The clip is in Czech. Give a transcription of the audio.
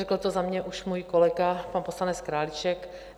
Řekl to za mě už můj kolega pan poslanec Králíček.